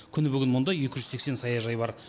күні бүгін мұнда екі жүз сексен саяжай бар